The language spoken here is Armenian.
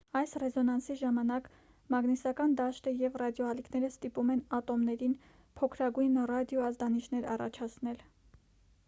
այս ռեզոնանսի ժամանակ մագնիսական դաշտը և ռադիոալիքները ստիպում են ատոմներին փոքրագույն ռադիո ազդանիշներ առաջացնել